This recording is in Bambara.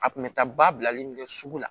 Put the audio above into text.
A kun bɛ taa ba bilalen min kɛ sugu la